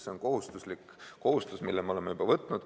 See on kohustus, mille me oleme juba võtnud.